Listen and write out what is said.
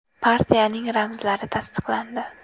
Partiyaning ramzlari tasdiqlandi.